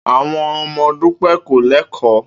Àwo̩n o̩mo̩ Dúpé̩ kò lé̩kò̩ó̩